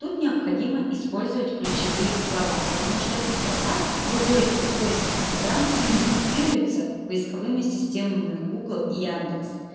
тут необходимо использовать ключевые слова потому что это строка выводится в поиск инстаграм и индексируется поисковыми системами гугл и яндекс